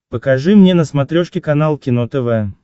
покажи мне на смотрешке канал кино тв